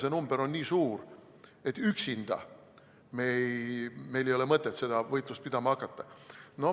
See number on nii suur, et üksinda meil ei ole mõtet seda võitlust pidama hakata.